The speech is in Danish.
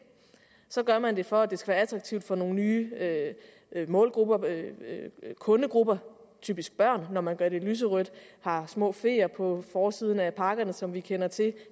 så gør man det for at det skal være attraktivt for nogle nye målgrupper kundegrupper typisk børn når man gør det lyserødt har små feer på forsiden af pakkerne som vi kender til